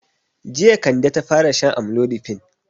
Jiya Kande ta fara shan amlodipine.